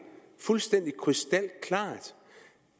fuldstændig krystalklart